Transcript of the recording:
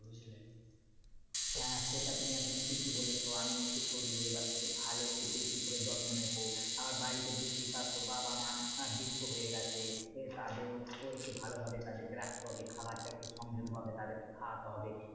হ্যাঁ হ্যাঁ সেটা তুমি একদম ঠিকই বলেছো আমি একটু শরীরের এবার থেকে ভালো একটু বেশি করে যত্ন নেবো। আমার বাড়িতে বুঝতেই পারছো বাবা মা আহ বৃদ্ধ হয়ে গেছে তাদেরও ও একটু ভালো ভাবে তাদেরকে রাখতে হবে। খাবারটা একটু সংযত ভাবে তাদেরকে খাওয়াতে হবে।